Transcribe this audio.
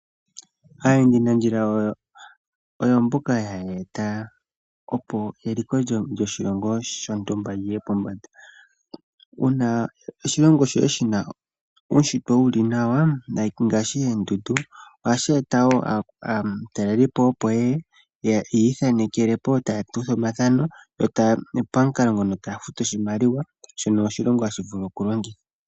Aayendi nandjila oyo mboka haya eta opo eliko lyoshilongo shontumba liye pombanda. Uuna oshilongo shoye shina uushitwe wu li nawa, ngaashii oondundu oha shi eta wo aatalelipo opo yeye ya ithanekele po, taya kutha omathano pamukalo ngono taya futu oshimaliwa, shono oshilongo hashi vulu oku longitha.